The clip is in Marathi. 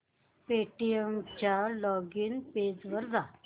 पेटीएम च्या लॉगिन पेज वर जा